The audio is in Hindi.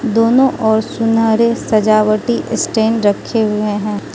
दोनो ओर सुनारे सजावटी स्टैंड रखे हुएं हैं।